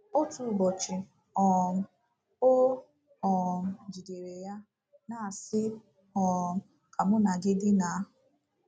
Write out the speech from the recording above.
Otu ụbọchị um, o um jidere ya, na-asị: “ um Ka mụ na gị dinaa. ”